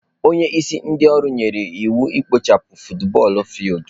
Onye isi ndị ọrụ nyere anyị iwu ikpochapụ futubọọl fildu.